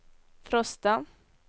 Frosta